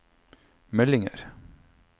meldinger